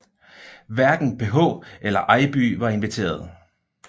Hverken PH eller Eibye var inviteret